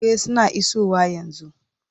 E, suna isowa yanzu.